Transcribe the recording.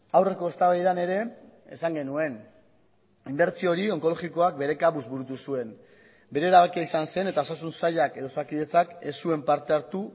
aurreko eztabaidan ere esan genuen inbertsio hori onkologikoak bere kabuz burutu zuen bere erabakia izan zen eta osasun sailak edo osakidetzak ez zuen parte hartu